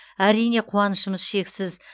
әрине қуанышымыз шексіз